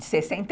sessenta e